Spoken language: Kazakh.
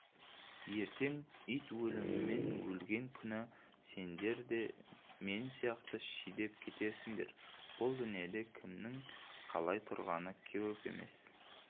ертең ит өлімімен өлген күні сендер де мен сияқты жидіп кетесіңдер бұл дүниеде кімнің қалай тұрғаны көп емес